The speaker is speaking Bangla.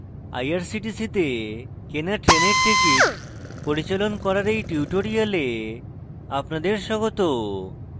irctc তে কেনা ট্রেনের টিকিট পরিচালন করার এই টিউটোরিয়ালে আপনাদের স্বাগত